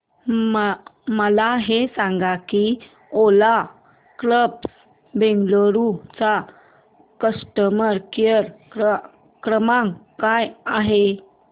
मला हे सांग की ओला कॅब्स बंगळुरू चा कस्टमर केअर क्रमांक काय आहे